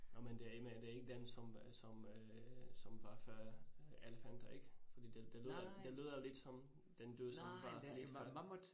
Nåh men det er det er ikke dem, som øh som øh som var før elefanter ik? Fordi det det lyder det lyder lidt som den dyr som var lidt før